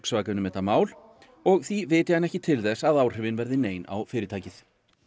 Volkswagen um þetta mál og því viti hann ekki til þess að áhrifin verði nein á fyrirtækið